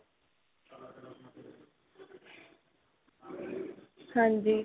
ਹਾਂਜੀ.